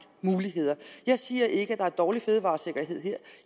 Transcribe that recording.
muligheder jeg siger ikke at der er dårlig fødevaresikkerhed her